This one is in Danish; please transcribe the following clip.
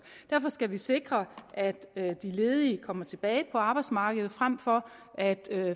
derfor skal vi sikre at de ledige kommer tilbage på arbejdsmarkedet frem for at